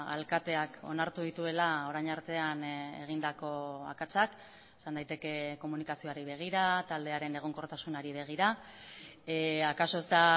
alkateak onartu dituela orain artean egindako akatsak esan daiteke komunikazioari begira taldearen egonkortasunari begira akaso ez da